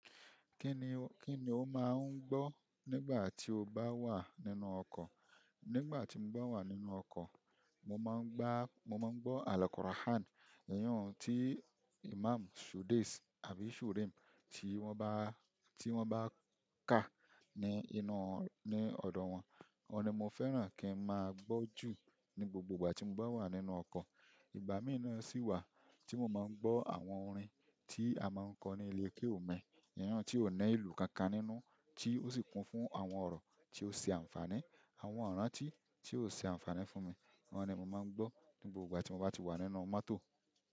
Kí ni, kí ni o máa ń gbọ́ nígbà tí o bá wà nínú ọkọ̀? Nígbà tí mo bá wà nínú ọkọ̀, mo máa ń gbá, mo máa ń gbọ́ àlọ́ Quran. Ìyẹn tí Imam Shudais àbí Shuraim tí wọ́n bá, tí wọ́n bá ka ní inú, ní ọ̀dọ̀ wọn. Ọ̀un ni mo fẹ́ràn kí n máa gbọ́ jù ní gbogbo ìgbà tí mo bá wà nínú ọkọ̀. Ìgbà mìíràn sì wà tí mo máa ń gbọ́ àwọn orin tí a máa ń kọ ní ilé kéwúù mi. Ìyẹn tí ò ní ìlù kankan nínú tí ó sì kún fún àwọn ọ̀rọ̀ tí ó ṣe àǹfààní, àwọn ọ̀rọ̀ àti tí yóò ṣe àǹfààní fún mi. Àwọn ni mo ma ngbo nígbà ti mba ti wa nínú mọ́tò.